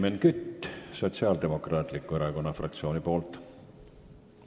Helmen Kütt Sotsiaaldemokraatliku Erakonna fraktsiooni nimel.